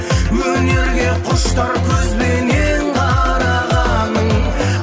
өнерге құштар көзбенен қарағаның